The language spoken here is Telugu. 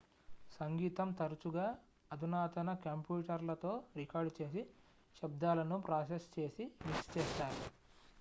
సంగీతం తరచుగా అధునాతన కంప్యూటర్లతో రికార్డు చేసి శబ్దాలను ప్రాసెస్ చేసి మిక్స్ చేస్తారు